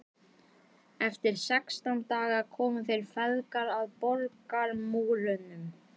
Eftir sextán daga komu þeir feðgar að borgarmúrum